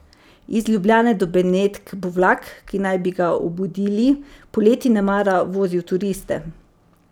Iz Ljubljane do Benetk bo vlak, ki naj bi ga obudili, poleti nemara vozil turiste.